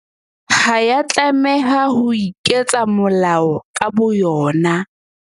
Ha ya tlameha ho iketsa molao ka bo yona.